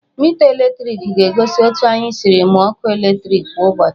Mita eletriki ga-egosi otu anyị siri mụọ ọkụ eletriki kwa ụbọchị